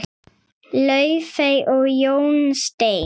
Laufey og Jón Steinn.